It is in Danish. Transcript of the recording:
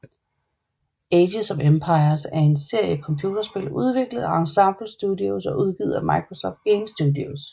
Age of Empires er en serie computerspil udviklet af Ensemble Studios og udgivet af Microsoft Game Studios